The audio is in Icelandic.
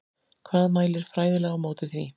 Hvað mælir fræðilega á móti því?